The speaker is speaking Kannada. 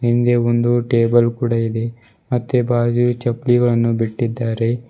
ಹಿಂದೆ ಒಂದು ಟೇಬಲ್ ಕೂಡ ಇದೆ ಮತ್ತೆ ಬಾಜು ಚಲ್ಪಿಗಳನ್ನು ಬಿಟ್ಟಿದ್ದಾರೆ.